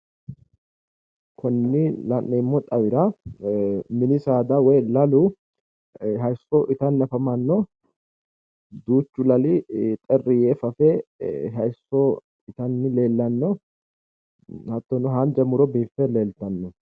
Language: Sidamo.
Konni la'neemmo xawira mini saada woy lalu hayiisso itanni afamanno duuchu lali xerri yee fafe hayiisso itanni leellanno hattono haanja muro biiffe leeltanno.